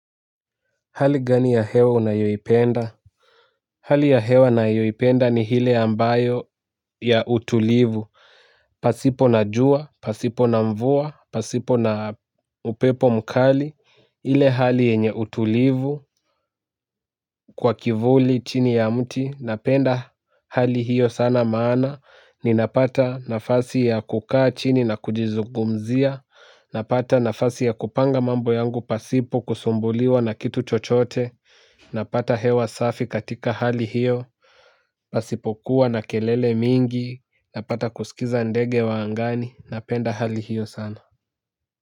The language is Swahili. Hali gani ya hewa unayoipenda? Hali ya hewa nayoipenda ni hile ambayo ya utulivu. Pasipo na jua, pasipo na mvua, pasipo na upepo mkali, ile hali enye utulivu, kwa kivuli chini ya mti. Napenda hali hiyo sana maana, ninapata nafasi ya kukaa chini na kujizugumzia. Napata nafasi ya kupanga mambo yangu pasipo kusumbuliwa na kitu chochote. Napata hewa safi katika hali hiyo, pasipokuwa na kelele mingi, napata kusikiza ndege wa angani, napenda hali hiyo sana.